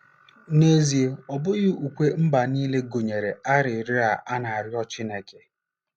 N'ezie, ọ bụghị ukwe mba nile gụnyere arịrịọ a na-arịọ Chineke.